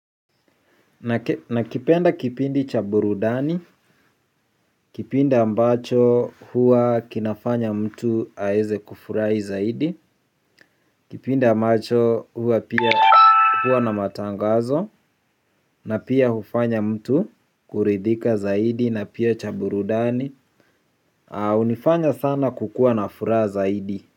Nakipenda kipindi cha burudani. Kipindi ambacho hua kinafanya mtu aeze kufurai zaidi. Kipindi ambacho hua pia huwa na matangazo. Na pia hufanya mtu kuridhika zaidi na pia chaburudani. Unifanya sana kukua na fura zaidi.